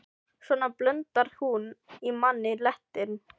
Svona blundar hún í manni letin.